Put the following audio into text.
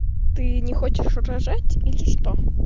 ты не хочешь рожать или что